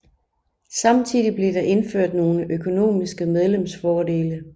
Samtidig blev der indført nogle økonomiske medlemsfordele